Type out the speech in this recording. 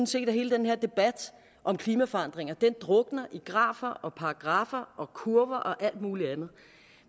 set at hele den her debat om klimaforandringer drukner i grafer og paragraffer og kurver og alt muligt andet